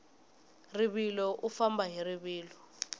rivilo u famba hi rivilo